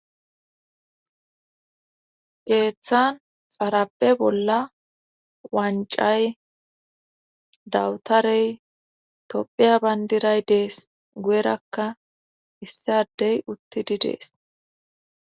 geeththan xarappe bolla wancay dawutarey tophiya bayndiray dees guyerakka issadey uttidi dees